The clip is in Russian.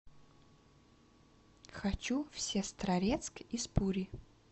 хочу в сестрорецк из пури